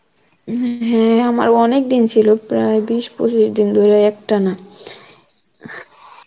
হম হ্যাঁ আমার অনেক দিন ছিল প্রায় বিশ, পঁচিশ দিন ধরে এক টানা